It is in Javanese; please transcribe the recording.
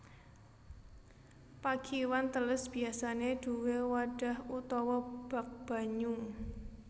Pakiwan teles biasané duwé wadhah utawa bak banyu